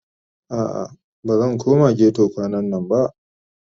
A'a bazan koma ghetto kwanannan ba